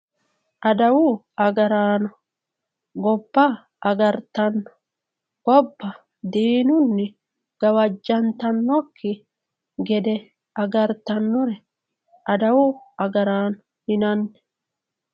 Adawu agaraano gobba agartanno gobba diinunni gawajjantannokki gede agartannore adawu agaraano yinanni